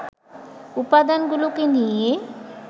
উপাদানগুলোকে নিয়ে